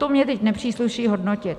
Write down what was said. To mně teď nepřísluší hodnotit.